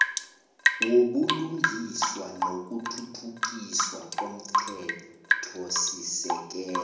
wobulungiswa nokuthuthukiswa komthethosisekelo